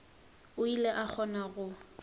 o ile a kgona go